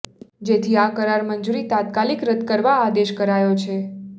જેથી આ કરાર મંજુરી તાત્કાલિક રદ કરવા આદેશ કરાયો છે